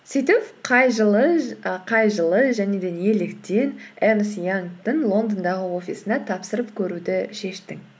сөйтіп қай жылы және де неліктен эрнст янгтың лондондағы офисына тапсырып көруді шештің